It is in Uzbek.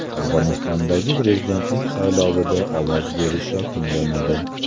Afg‘onistondagi prezidentlik saylovida ovoz berish yakunlanadi.